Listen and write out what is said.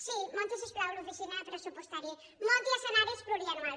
sí munti si us plau l’oficina pressupostària munti escenaris plurianuals